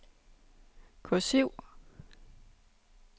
kursiv